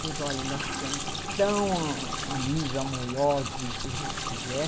Pois olha, nós ficamos tão a amigos, amorosos, e o que você quiser.